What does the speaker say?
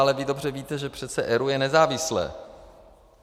Ale vy dobře víte, že přeci ERÚ je nezávislé.